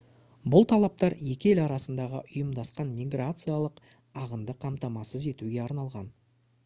бұл талаптар екі ел арасындағы ұйымдасқан миграциялық ағынды қамтамасыз етуге арналған